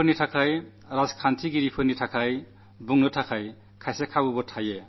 പൌരന്മാർക്കും രാഷ്ട്രീയനേതാക്കൾക്കും സംസാരിക്കാൻ അവസരങ്ങൾ പലതുണ്ട്